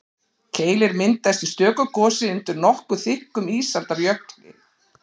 Keilir myndaðist í stöku gosi undir nokkuð þykkum ísaldarjökli.